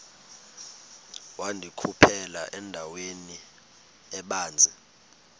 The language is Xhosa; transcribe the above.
wandikhuphela endaweni ebanzi